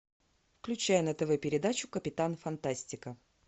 включай на тв передачу капитан фантастика